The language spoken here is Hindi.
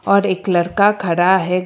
और एक लड़का खड़ा है।